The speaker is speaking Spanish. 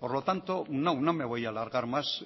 por lo tanto no me voy a alargar más